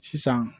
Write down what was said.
Sisan